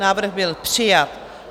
Návrh byl přijat.